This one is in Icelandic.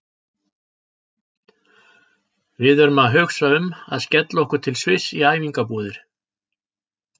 Við erum að hugsa um að skella okkur til Sviss í æfingabúðir.